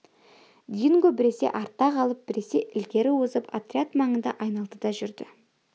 динго біресе артта қалып біресе ілгері озып отряд маңында айналды да жүрді